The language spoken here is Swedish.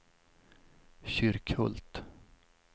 Kyrkhult